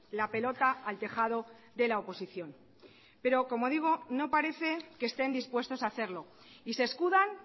la pelota al tejado de la oposición pero como digo no parece que estén dispuestos a hacerlo y se escudan